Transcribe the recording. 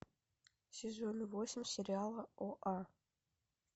сезон восемь сериала оа